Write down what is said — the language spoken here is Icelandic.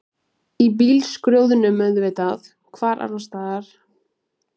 Í bílskrjóðnum auðvitað, hvar annarstaðar?